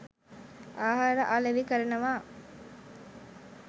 ආහාර අලෙවි කරනවා.